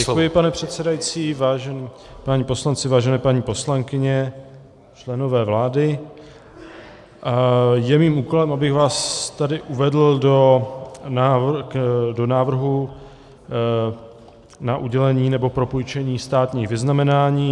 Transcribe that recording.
Děkuji, pane předsedající, vážení páni poslanci, vážené paní poslankyně, členové vlády, je mým úkolem, abych vás tady uvedl do návrhu na udělení nebo propůjčení státních vyznamenání.